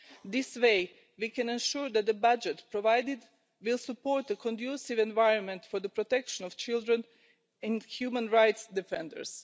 This way, we can ensure that the budget provided will support the conducive environment for the protection of children and human rights defenders.